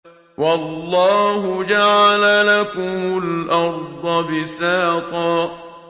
وَاللَّهُ جَعَلَ لَكُمُ الْأَرْضَ بِسَاطًا